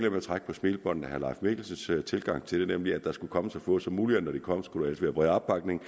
at trække på smilebåndet af herre leif mikkelsens tilgang til det nemlig at der skulle komme så få forslag som muligt og når de kom skulle der helst være bred opbakning